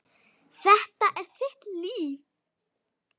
Þetta er þitt líf!